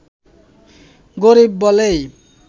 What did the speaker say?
গরিব বলেই